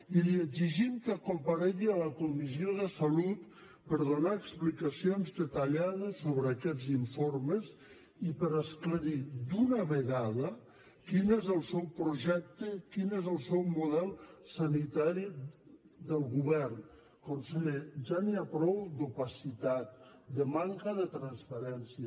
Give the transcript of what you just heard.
i li exigim que comparegui en la comissió de salut per donar explicacions detallades sobre aquests informes i per esclarir d’una vegada quin és el seu projecte quin és el seu model sanitari del govern conseller ja n’hi ha prou d’opacitat de manca de transparència